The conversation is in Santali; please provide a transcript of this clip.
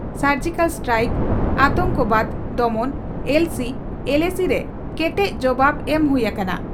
ᱥᱚᱨᱡᱤᱠᱟᱞ ᱥᱴᱨᱟᱭᱤᱠ, ᱟᱛᱚᱝᱠᱚᱵᱟᱫᱽ ᱫᱚᱢᱚᱱ, ᱮᱞᱚᱥᱤ, ᱮᱞᱮᱥᱤ ᱨᱮ ᱠᱮᱴᱮᱡ ᱡᱚᱵᱟᱵᱽ ᱮᱢ ᱦᱩᱭ ᱟᱠᱟᱱᱟ ᱾